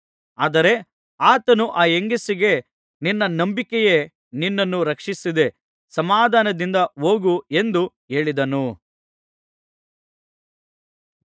ಆದರೆ ಆತನು ಆ ಹೆಂಗಸಿಗೆ ನಿನ್ನ ನಂಬಿಕೆಯೇ ನಿನ್ನನ್ನು ರಕ್ಷಿಸಿದೆ ಸಮಾಧಾನದಿಂದ ಹೋಗು ಎಂದು ಹೇಳಿದನು